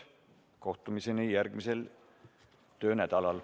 Kohtumiseni järgmisel töönädalal.